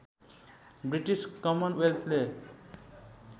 British कमन वेल्थले